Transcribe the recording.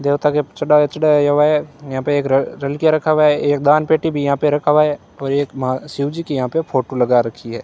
देवता के चढ़ावा चढ़ाया हुआ है यहां पे एक र रलकिया रखा हुआ है एक दान पेटी भी यहां पे रखा हुआ है और एक महा शिवजी की यहां पे फोटो लगा रखी है।